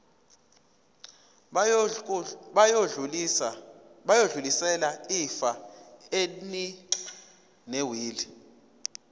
bayodlulisela ifa elinewili